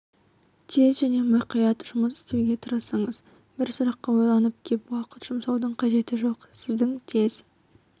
тез және мұқият жұмыс істеуге тырысыңыз бір сұраққа ойланып кеп уақыт жұмсаудың қажеті жок сіздің тез